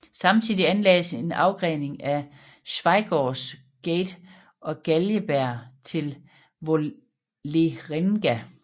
Samtidig anlagdes en afgrening ad Schweigaards gate og Galgeberg til Vålerenga